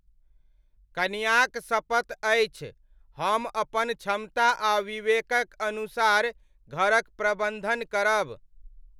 कनियाक सपत अछि, हम अपन क्षमता आ विवेकक अनुसार घरक प्रबन्धन करब।